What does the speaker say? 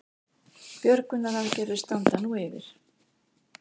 Björgunaraðgerðir standa nú yfir